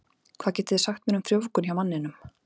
Hvað getið þið sagt mér um frjóvgun hjá manninum?